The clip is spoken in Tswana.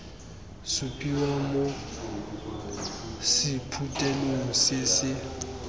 supiwa mo sephuthelong se se